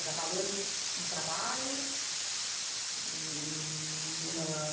Trabalhando, no trabalho? Hm... Numa